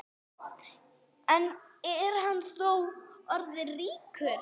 En er hann þá orðin ríkur?